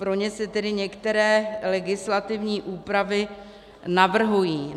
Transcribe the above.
Pro ně se tedy některé legislativní úpravy navrhují.